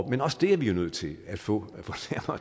men også det er vi jo nødt til at få